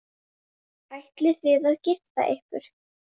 Ætlið þið að gifta ykkur?